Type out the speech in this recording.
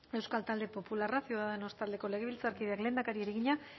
euskal talde popularra ciudadanos taldeko legebiltzarkideak lehendakariari egina